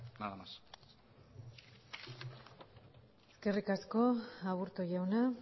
nada más eskerrik asko aburto jauna